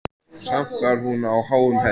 Samt var hún á háum hesti.